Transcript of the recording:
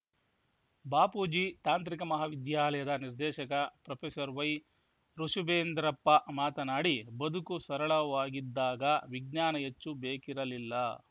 ಬಾಪೂಜಿ ತಾಂತ್ರಿಕ ಮಹಾ ವಿದ್ಯಾಲಯದ ನಿರ್ದೇಶಕ ಪ್ರೊಫೆಸರ್ ವೈವೃಷಭೇಂದ್ರಪ್ಪ ಮಾತನಾಡಿ ಬದುಕು ಸರಳವಾಗಿದ್ದಾಗ ವಿಜ್ಞಾನ ಹೆಚ್ಚು ಬೇಕಿರಲಿಲ್ಲ